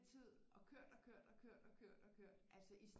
Tid og kørt og kørt og kørt og kørt og kørt altså i